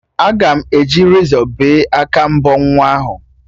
Aga m eji rezọ bee aka mbọ nwa ahụ